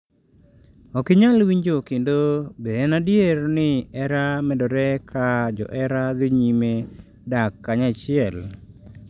Ok inyal winjo kendo Be en adier ni hera medore ka johera dhi nyime dak kanyachiel?